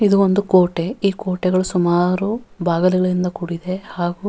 ಇದು ಒಂದು ಈ ಕೋಟೆಗಳು ಸುಮಾರು ಬಾಗಿಲುಗಳಿಂದ ಕೂಡಿದೆ ಹಾಗು --